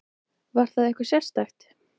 Var það eitthvað sérstakt?